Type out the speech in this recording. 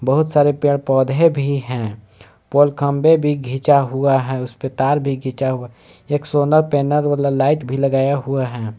बहुत सारे पेड़ पौधे भी हैं पोल खंभे भी खींचा हुआ है उस पर तार भी खींचा हुआ एक सोलर पैनल वाला लाइट भी लगाया हुआ है।